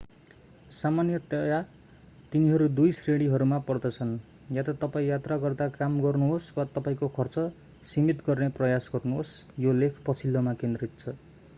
सामान्यतया तिनीहरू दुई श्रेणीहरूमा पर्दछन्ः या त तपाईं यात्रा गर्दा काम गर्नुहोस् वा तपाईंको खर्च सीमित गर्ने प्रयास गर्नुहोस् यो लेख पछिल्लोमा केन्द्रित छ